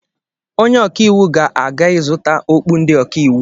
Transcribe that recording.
Onye ọkaiwu ga-aga ịzụta okpu ndị ọkaiwu